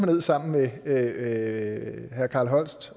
ned sammen med herre carl holst